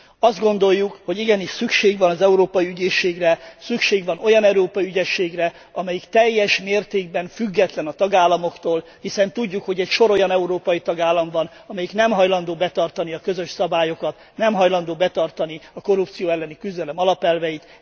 Azt gondoljuk, hogy igenis szükség van az Európai Ügyészségre, szükség van olyan európai ügyészségre, amelyik teljes mértékben független a tagállamoktól, hiszen tudjuk, hogy egy sor olyan európai tagállam van, amelyik nem hajlandó betartani a közös szabályokat, nem hajlandó betartani a korrupció elleni küzdelem alapelveit.